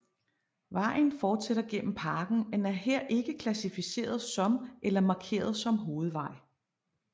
Vejen fortsætter gennem parken men er her ikke klassificeret som eller markeret som hovedvej